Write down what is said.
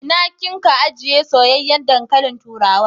Ina kin ka ajiye soyayyen dankalin turawa?